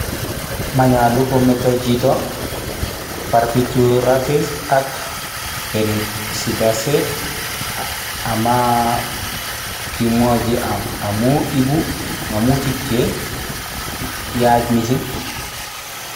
Maonyolu kometo chito barbiturates ak benzodiazepines ama kimwochi amu ibu ngemutik cheyach misssing